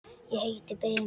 Ég heiti Brimar.